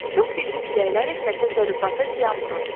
Çox güclü küləklər isə təsərrüfata ziyan vurur.